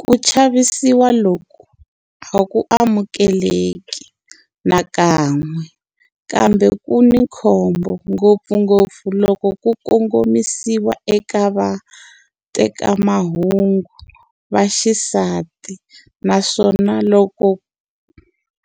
Ku chavisiwa loku a ku amukeleki nakan'we, kambe ku ni khombo ngopfungopfu loko ku kongomisiwa eka vatekamahungu va xisati naswona loku